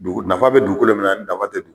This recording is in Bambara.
Dugu nafa bɛ dugukolo min na ani nafa tɛ dug